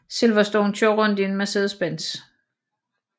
Silverstone kører rundt i en Mercedes Benz